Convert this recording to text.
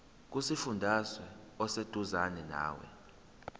kusifundazwe oseduzane nawe